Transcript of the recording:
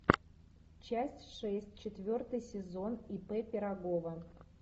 часть шесть четвертый сезон ип пирогова